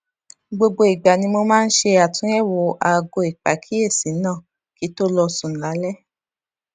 gbogbo ìgbà ni mo máa ń ṣe àtúnyèwò aago ìpàkíyèsí náà kí n tó lọ sùn lálé